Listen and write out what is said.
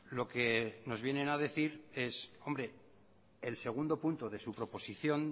lo que nos vienen a decir el segundo punto de su proposición